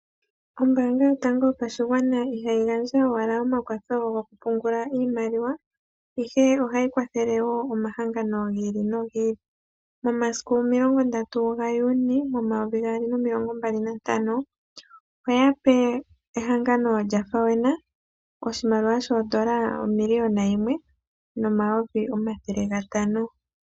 Ombaanga yoStandard Bank ihayi gandja owala omakwatho gokupungula oshimaliwa, ihe ohayi kwathele wo omahangano gi ili nogi ili. Momasiku 30 Juni 2025, oya pe ehangano lyaFAWENA oshimaliwa shoodola dhaNamibia omiliyona yimwe nomayovi omathele gatano.